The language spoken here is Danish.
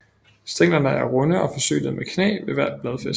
Stænglerne er runde og forsynet med knæ ved hvert bladfæste